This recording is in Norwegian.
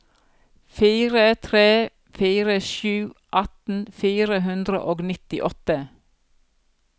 fire tre fire sju atten fire hundre og nittiåtte